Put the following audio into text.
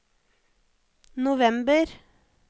november